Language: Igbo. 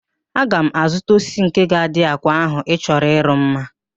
Aga m azụta osisi nke ga-adị àkwà ahụ ị chọrọ ịrụ mma